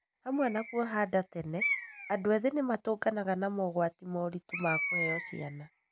Hamwe na kuohanda tene, andũ ethĩ nĩ matũnganaga ma mogwati moritũ makũheo ciana.